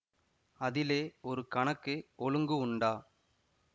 அதிலே ஒரு கணக்கு ஒழுங்கு உண்டா